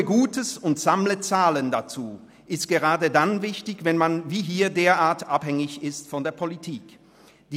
Tue Gutes und sammle Zahlen dazu» ist gerade dann wichtig, wenn man wie hier derart abhängig von der Politik ist.